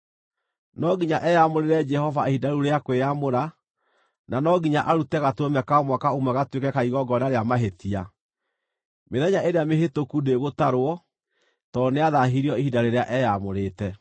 No nginya eyamũrĩre Jehova ihinda rĩu rĩa kwĩyamũra, na no nginya arute gatũrũme ka mwaka ũmwe gatuĩke ka igongona rĩa mahĩtia. Mĩthenya ĩrĩa mĩhĩtũku ndĩgũtarwo, tondũ nĩathaahirio ihinda rĩrĩa eyaamũrĩte.